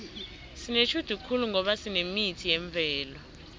sinetjhudu khulu ngoba sinemithi yemvelo